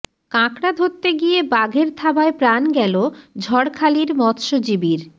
কাঁকড়া ধরতে গিয়ে বাঘের থাবায় প্রাণ গেল ঝড়খালির মৎস্যজীবীর